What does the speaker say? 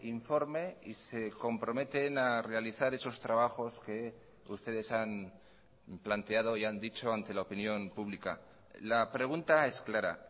informe y se comprometen a realizar esos trabajos que ustedes han planteado y han dicho ante la opinión pública la pregunta es clara